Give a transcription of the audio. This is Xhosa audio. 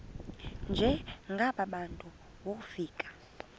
njengaba bantu wofika